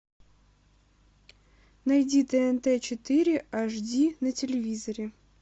найди тнт четыре аш ди на телевизоре